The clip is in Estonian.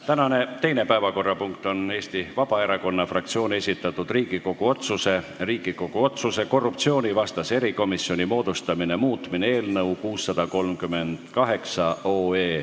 Tänane teine päevakorrapunkt on Eesti Vabaerakonna fraktsiooni esitatud Riigikogu otsuse "Riigikogu otsuse "Korruptsioonivastase erikomisjoni moodustamine" muutmine" eelnõu 638.